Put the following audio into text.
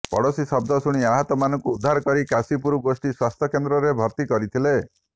ପଡୋଶୀ ଶବ୍ଦ ଶୁଣି ଆହତମାନଙ୍କୁ ଉଦ୍ଧାର କରି କାଶୀପୁର ଗୋଷ୍ଠୀ ସ୍ବାସ୍ଥ୍ୟ କେନ୍ଦ୍ରରେ ଭର୍ତ୍ତି କରିଥିଲେ